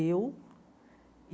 Eu.